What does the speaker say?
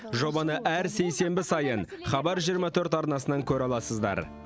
жобаны әр сейсенбі сайын хабар жиырма төрт арнасынан көре аласыздар